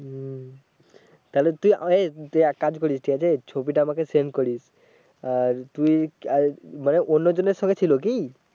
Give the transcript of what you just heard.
তাহলে তুই এ তুই এক কাজ করিস ঠিক আছে ছবিটা আমাকে সেন্ড করিস, আর তু্ই আর মানে অন্য জনের ছবি ছিলো কি?